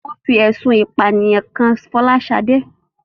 Wón fi ẹ̀sùn ìpànìyàn kan Fọláṣadé